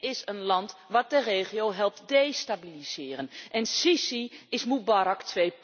Dit is een land wat de regio helpt destabiliseren en el Sissi is Mubarak